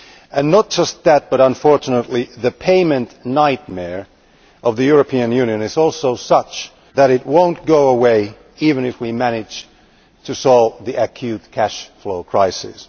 And not just that, but unfortunately the payment nightmare of the European Union is also such that it will not go away even if we manage to solve the acute cash flow crisis.